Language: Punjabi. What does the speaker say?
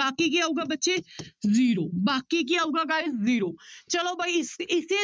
ਬਾਕੀ ਕੀ ਆਊਗਾ ਬੱਚੇ zero ਬਾਕੀ ਕੀ ਆਊਗਾ guys zero ਚਲੋ ਬਾਈ ਇਸ ਇਸੇ